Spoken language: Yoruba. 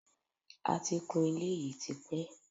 A ti kun ilé yìí tipẹ́